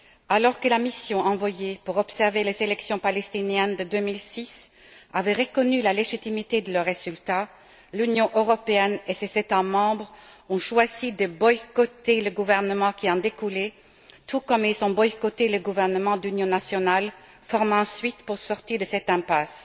Alors que la mission envoyée pour observer les élections palestiniennes de 2006 avait reconnu la légitimité de leur résultat, l'Union européenne et ses États membres ont choisi de boycotter le gouvernement qui en découlait, tout comme ils ont boycotté le gouvernement d'union nationale formé ensuite pour sortir de cette impasse.